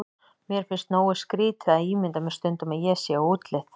Mér finnst nógu skrýtið að ímynda mér stundum ég sé á útleið.